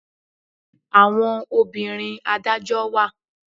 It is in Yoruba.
Àwọn obìnrin adájọ́ wà.